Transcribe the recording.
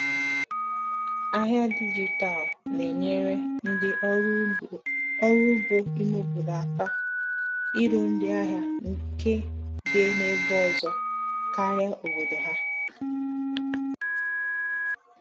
Ahịa dijitalụ na-enyere ndị ọrụ ugbo ime obodo aka iru ndị ahịa nke dị n’ebe ọzọ karịa obodo ha.